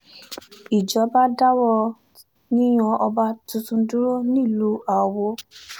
ìjọba dáwọ́ yíyan ọba tuntun dúró nílùú awo